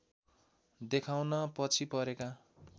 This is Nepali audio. देखाउन पछि परेका